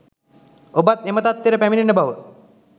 ඔබත් එම තත්වයට පැමිණෙන බව